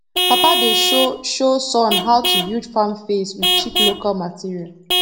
papa dey show show son how to build farm fence with cheap local material